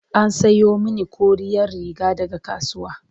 an Sayo mani koriyar Riga daga kasuwa